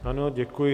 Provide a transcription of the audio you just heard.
Ano, děkuji.